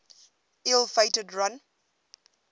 ill fated run